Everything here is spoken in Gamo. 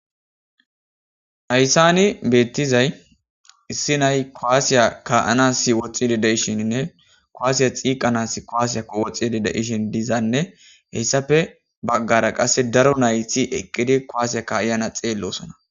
Hayssan bettizay issi na'ay kuwasse ka'anas woxxishe dizayssinne hessappe bagara qasse daaro nayti eqqidi kuwasse kaiiza na'a xellosona.